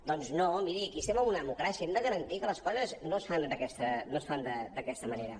doncs no miri aquí estem en una democràcia hem de garantir que les coses no es fan d’aquesta manera